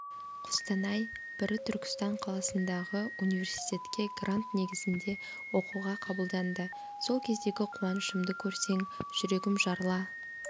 қостанай бірі түркістан қаласындағы университетке грант негізінде оқуға қабылданды сол кездегі қуанышымды көрсең жүрегім жарыла